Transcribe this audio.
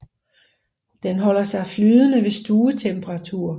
Den holder sig flydende ved stuetemperatur